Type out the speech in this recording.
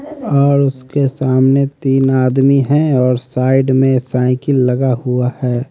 और उसके सामने तीन आदमी है और साइड में साइकिल लगा हुआ है।